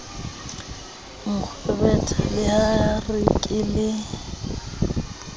nkgwebetha la re ke le